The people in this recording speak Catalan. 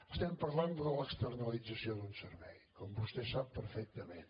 estem parlant de l’externalització d’un servei com vostè sap perfectament